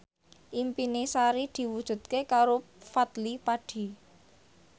impine Sari diwujudke karo Fadly Padi